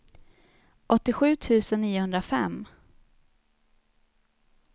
åttiosju tusen niohundrafem